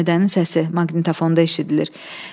Həmidənin səsi maqnitofondan eşidilir.